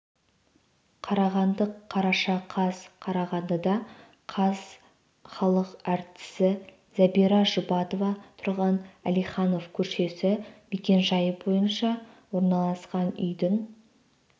қарағанды қараша қаз қарағандыда қаз халық әртісі зәбира жұбатова тұрған әлиханов көшесі мекенжайы бойынша орналасқан үйдің